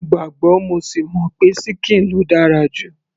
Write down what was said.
mo gbàgbọ́ mo sì mọ̀ pé ṣíkìn ló dára jù